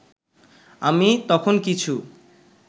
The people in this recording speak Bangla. আমি তখন কিছু